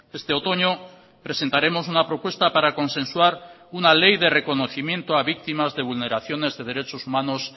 este otoño presentaremos una propuesta para consensuar una ley de reconocimiento a víctimas de vulneraciones de derechos humanos